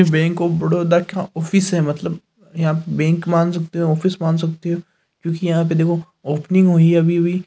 इस bank of Baroda का office है मतलब यह आप बैंक मान सकते हो ऑफिस मान सकते हो क्योकि यहाँ पे देखो ओपनिंग हुई है अभी अभी।